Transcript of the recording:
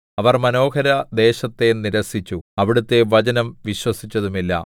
അവർ മനോഹരദേശത്തെ നിരസിച്ചു അവിടുത്തെ വചനം വിശ്വസിച്ചതുമില്ല